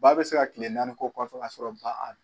Ba bɛ se ka kile naani kɛ o kɔfɛ ka sɔrɔ ba